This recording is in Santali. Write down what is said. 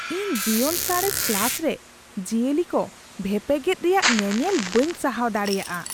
ᱤᱧ ᱡᱤᱭᱚᱱᱥᱟᱬᱮᱥ ᱠᱞᱟᱥ ᱨᱮ ᱡᱤᱭᱟᱹᱞᱤ ᱠᱚ ᱵᱷᱮᱯᱮᱜᱮᱫ ᱨᱮᱭᱟᱜ ᱧᱮᱱᱮᱞ ᱵᱟᱹᱧ ᱥᱟᱦᱟᱶ ᱫᱟᱲᱮᱭᱟᱜᱼᱟ ᱾